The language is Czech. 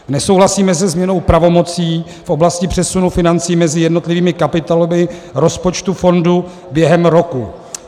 Nesouhlasíme se změnou pravomocí v oblasti přesunu financí mezi jednotlivými kapitolami rozpočtu fondu během roku.